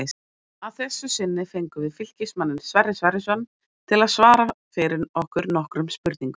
Að þessu sinni fengum við Fylkismanninn Sverrir Sverrisson til að svara fyrir okkur nokkrum spurningum.